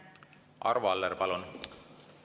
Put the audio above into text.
Arvo Aller, palun!